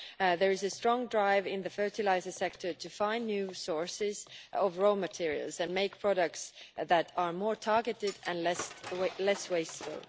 There is a strong drive in the fertiliser sector to find new sources of raw materials and make products that are more targeted and less wasteful.